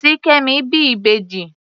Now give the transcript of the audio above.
Ṣìkẹ́mi bí ìbẹjì.